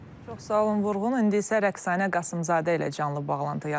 Çox sağ ol Vurğun, indi isə Rəqsanə Qasımzadə ilə canlı bağlantı yaradırıq.